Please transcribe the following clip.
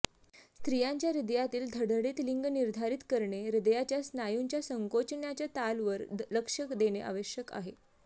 स्त्रियांच्या हृदयातील धडधडीत लिंग निर्धारित करणे हृदयाच्या स्नायूंच्या संकोचण्याच्या ताल वर लक्ष देणे आवश्यक आहे